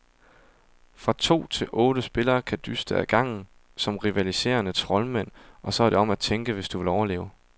Fra to til otte spillere kan dyste ad gangen som rivaliserende troldmænd, og så er det om at tænke, hvis du vil overleve.